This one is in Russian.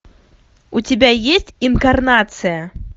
у тебя есть инкарнация